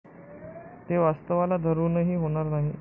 ते वास्तवाला धरूनही होणार नाही.